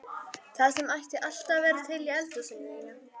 Það sem ætti alltaf að vera til í eldhúsinu þínu!